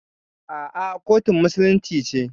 A'a, kotun musulunci ce.